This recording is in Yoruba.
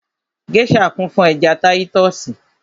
Gèésà kún fún ẹja táyítọ́sì